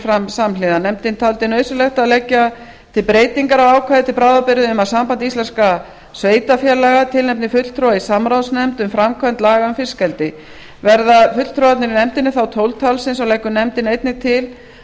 fram samhliða nefndin taldi nauðsynlegt að leggja til breytingar á ákvæði til bráðabirgða um að samband íslenskra sveitarfélaga tilnefndi fulltrúa í samráðsnefnd um framkvæmd laga um fiskeldi verða fulltrúarnir í nefndinni þá tólf talsins og leggur nefndin einnig til að